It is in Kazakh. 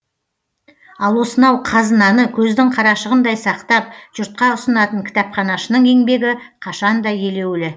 ал осынау қазынаны көздің қарашығындай сақтап жұртқа ұсынатын кітапханашының еңбегі қашан да елеулі